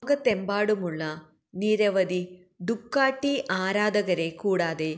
ലോകത്തെമ്പാടുമുള്ള നിരവധി ഡുകാട്ടി ആരാധകരെക്കൂടാതെ